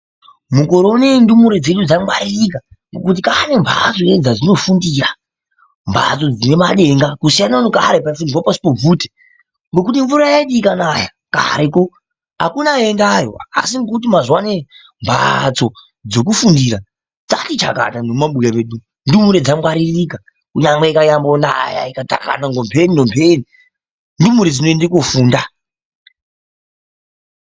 Mukore ineyi ndumure dzenyu dzangwaririka ngekuti kaane mbatso dzadzinofundira, mbatso dzine madenga. Kusiyana nekare kwaufundirwa pashi pobvute, ngekuti mvura yaiti ikanaya kareko akuna aiendayo asi ngekuti mazuwa anaya mbaatso dzekufundira dzakati chakata nemumabuya medu umu. Ndumure dzangwaririka nyangwe ikanyambonaya ikathakana nompheni nompheni ndumure dzinoende kofunda.